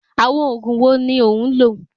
Àwọn òògùn wo ni ò ń lò?